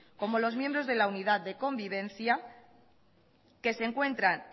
como los miembros de la unidad de convivencia que se encuentran